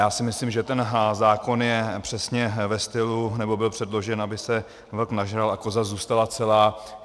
Já si myslím, že ten zákon je přesně ve stylu, nebo byl předložen, aby se vlk nažral a koza zůstala celá.